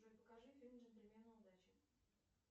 джой покажи фильм джентльмены удачи